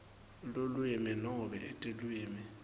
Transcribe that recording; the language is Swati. lulwimi nobe tilwimi